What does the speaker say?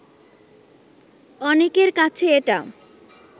অনেকের কাছে এটা